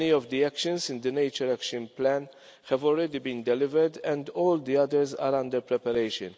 Many of the actions in the Action Plan for nature have already been delivered and all the others are under preparation.